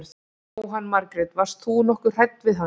Jóhann Margrét: Varst þú nokkuð hrædd við hann?